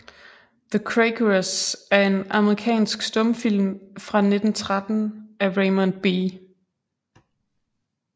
The Quakeress er en amerikansk stumfilm fra 1913 af Raymond B